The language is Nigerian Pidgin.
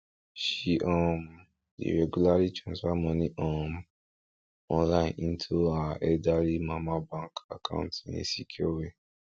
she um dey regularly transfer money um online into her elderly mama bank account in a secure way